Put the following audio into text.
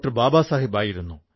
ബാബാ സാഹബ് ആയിരുന്നു